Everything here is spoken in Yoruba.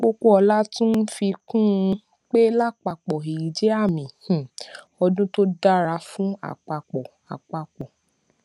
popoola tún fi kún un pé láàpapò èyí jé àmì um ọdún tó dára fún àpapò àpapò